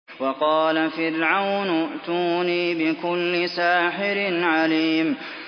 وَقَالَ فِرْعَوْنُ ائْتُونِي بِكُلِّ سَاحِرٍ عَلِيمٍ